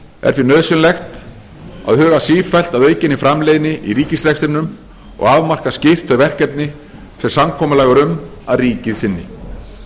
er því nauðsynlegt að huga sífellt að aukinni framleiðni í ríkisrekstrinum og að afmarka skýrt þau verkefni sem samkomulag er um að ríkið sinni